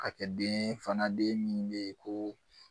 ka kɛ den ye fana den min bɛ ye ko